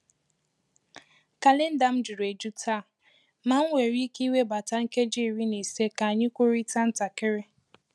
Kalenda m juru eju taa, ma m nwèrè íké iwebata nkeji iri na ise ka anyị kwurịta ntakịrị.